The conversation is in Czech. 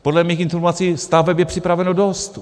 Podle mých informací staveb je připraveno dost.